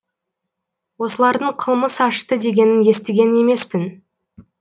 осылардың қылмыс ашты дегенін естіген емеспін